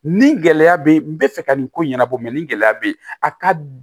Ni gɛlɛya be yen n bɛ fɛ ka nin ko in ɲɛnabɔ nin gɛlɛya be yen a ka